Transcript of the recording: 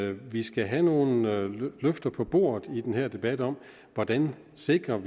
at vi skal have nogle løfter på bordet i den her debat om hvordan vi sikrer